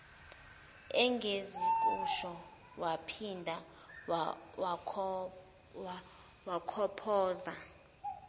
engizokusho waphinda wakhophoza